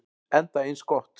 Enda eins gott.